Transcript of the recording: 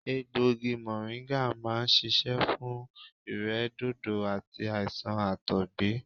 Egbògi mọ̀ríńgà máa ń ṣiṣẹ́ fún ìrẹ́dòdò àti àìsàn àtọ̀gbẹ